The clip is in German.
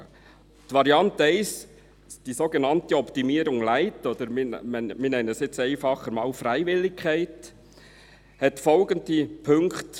Die Variante 1, die sogenannte «Optimierung light», oder nennen wir sie nun einfacher einmal «Freiwilligkeit», beinhaltet folgende Punkte: